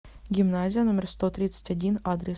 гимназия номер сто тридцать один адрес